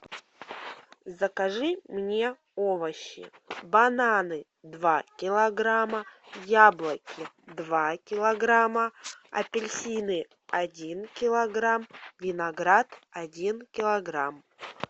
закажи мне овощи бананы два килограмма яблоки два килограмма апельсины один килограмм виноград один килограмм